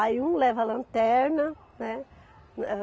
Aí um leva a lanterna, né?